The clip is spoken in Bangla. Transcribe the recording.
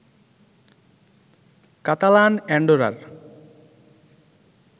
কাতালান অ্যান্ডোরার